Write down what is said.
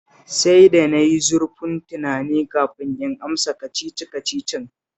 Sai da na yi zurfin tunani kafin in amsa Kacici-kacicin